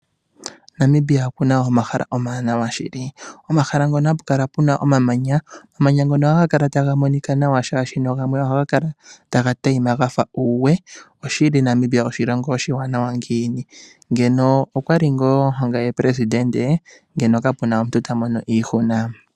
Namibia okuna omahala omawanawa shili. Omahala ngono hapu kala omamanya, omamanya ngono haga kala taga monika nawa, shaashi gamwe ohaga kala taga tayima gafa uuwe. Oshili Namibia oshilongo oshi wanawa ngiini. Ngeno okwali ngaa ongame Presidente, ngeno kape na omuntu ta mono iihuna.